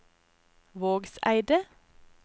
Vågseidet